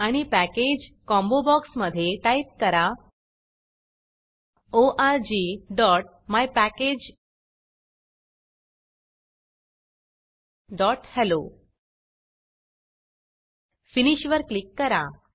आणि package package combo बॉक्समधे type करा orgmypackageहेल्लो फिनिश फिनिश वर क्लिक करा